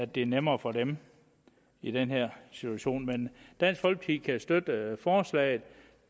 bliver nemmere for dem i den her situation dansk folkeparti kan støtte forslaget